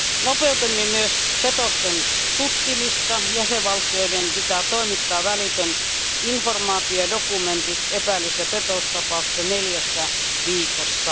Nopeutimme myös petosten tutkimista. Jäsenvaltioiden pitää toimittaa välitön informaatio ja dokumentit epäillyissä petostapauksissa neljässä viikossa.